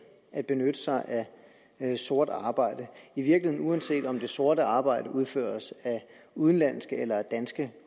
at benytte sig af sort arbejde i virkeligheden uanset om det sorte arbejde udføres af udenlandske eller danske